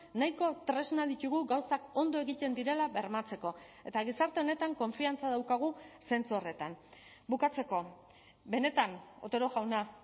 nahiko tresna ditugu gauzak ondo egiten direla bermatzeko eta gizarte honetan konfiantza daukagu zentzu horretan bukatzeko benetan otero jauna